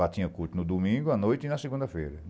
Lá tinha culto no domingo, à noite e na segunda-feira.